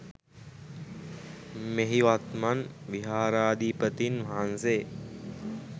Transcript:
මෙහි වත්මන් විහාරාධිපතින් වහන්සේ